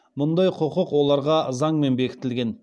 мұндай құқық оларға заңмен бекітілген